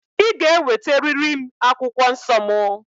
Ị ga-eweteriri m akwụkwọ nsọ mụ!